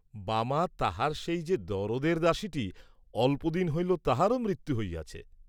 বামা তাহার সেই যে দরদের দাসীটি, অল্প দিন হইল তাহারও মৃত্যু হইয়াছে।